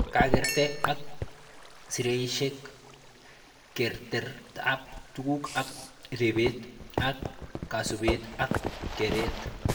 Kakerte ak seraishek, kertetab tuguk ak rebete ak kasubet ak keret